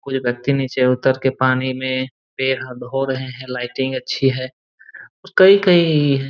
कुछ व्यक्ति नीचे उतर के पानी में पैर हाथ धो रहे हैं लाइटिंग अच्छी है और कई कई--